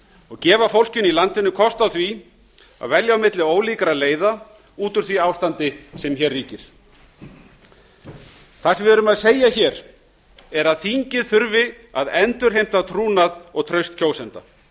og gefa fólkinu í landinu kost á því að velja á milli ólíkra leiða út úr því ástandi sem hér ríkir það sem við erum að segja hér er að þingið þurfi að endurheimta trúnað og traust kjósenda